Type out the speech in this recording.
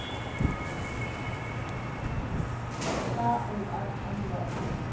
ka o r tambo a